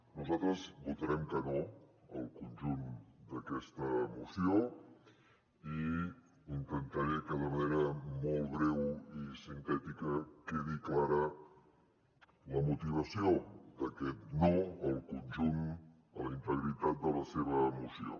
nosaltres votarem que no al conjunt d’aquesta moció i intentaré que de manera molt breu i sintètica quedi clara la motivació d’aquest no al conjunt a la integritat de la seva moció